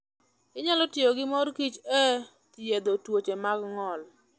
Onyalo tiyo gi mor kich e thiedho tuoche mag ng'ol.